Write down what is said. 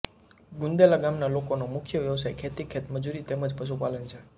ગુંદેલા ગામના લોકોનો મુખ્ય વ્યવસાય ખેતી ખેતમજૂરી તેમ જ પશુપાલન છે